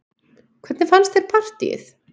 Hvernig fannst þér partíið?